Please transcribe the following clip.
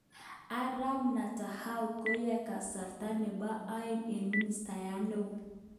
Arap Netanyahu koyoe kasarta nebo aeng ko ministayat neo